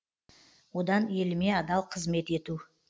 одан еліме адал қызмет ету